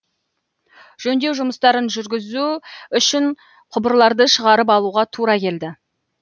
жөндеу жұмыстарын жүргізу үшін құбырларды шығарып алуға тура келді